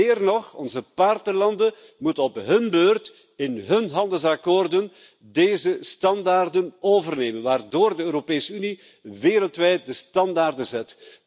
Meer nog onze partnerlanden moeten op hun beurt in hun handelsovereenkomsten deze standaarden overnemen, waardoor de Europese Unie wereldwijd de standaarden zet.